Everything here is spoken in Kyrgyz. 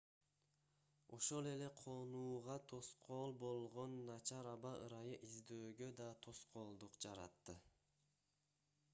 ошол эле конууга тоскоол болгон начар аба ырайы издөөгө да тоскоолдук жаратты